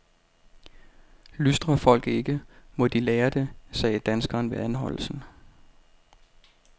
Lystrer folk ikke, må de lære det, sagde danskeren ved anholdelsen.